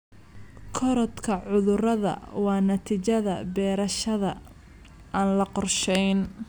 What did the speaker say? Korodhka cudurrada waa natiijada beerashada aan la qorshayn.